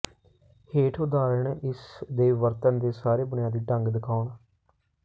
ਹੇਠ ਉਦਾਹਰਣ ਇਸ ਦੇ ਵਰਤਣ ਦੇ ਸਾਰੇ ਬੁਨਿਆਦੀ ਢੰਗ ਦਿਖਾਉਣ